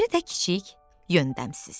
O biri də kiçik, yöndəmsiz.